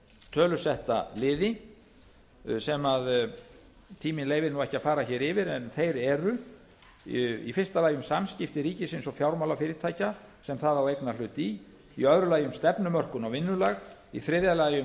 tölusetta liði sem tíminn leyfir ekki að fara yfir en þeir eru fyrstu um samskipti ríkisins og fjármálafyrirtækja sem það á eignarhlut í öðrum um stefnumörkun og vinnulag þriðji um